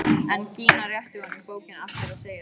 En Gína réttir honum bókina aftur og segir kalt: